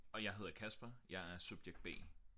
Og jeg hedder Kasper jeg er subjekt B